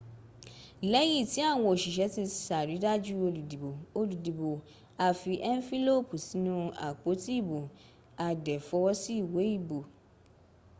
lẹ́yìn tí àwọn òṣìṣẹ́ ti ṣàrídájú olùdìbò olùdìbò a fi ẹnfílópì sínú apoti ìbò a dẹ̀ fọwọ́ sí iwé ìbò